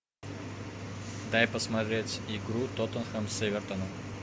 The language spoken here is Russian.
дай посмотреть игру тоттенхэм с эвертоном